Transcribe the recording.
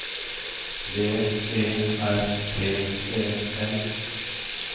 B E R T E L